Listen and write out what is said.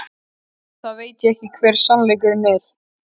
Auðvitað veit ég hver sannleikurinn er.